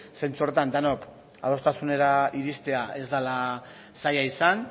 zentzu horretan denok adostasunera iristea ez dela zaila izan